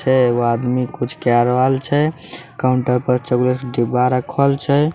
छे एगो आदमी कुछ कै रहल छे काउटर पर चॉकलेट के डिब्बा रखल छे।